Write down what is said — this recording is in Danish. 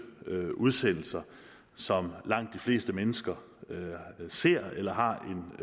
udsendelser som langt de fleste mennesker ser eller har